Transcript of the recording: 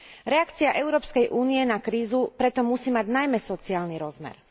Reakcia Európskej únie na krízu preto musí mať najmä sociálny rozmer.